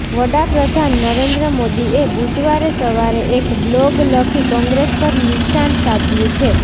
વડાપ્રધાન નરેન્દ્ર મોદીએ બુધવારે સવારે એક બ્લોગ લખી કોંગ્રેસ પર નિશાન સાધ્યુ છે